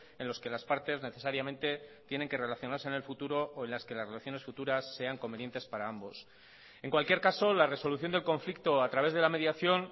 en los que las partes necesariamente tienen que relacionarse en el futuro o en las que las relaciones futuras sean convenientes para ambos en cualquier caso la resolución del conflicto a través de la mediación